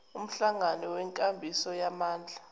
umhlangano wenkambiso yamandla